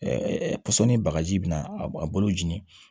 pɔsɔni bagaji bi na a b a bolo jeni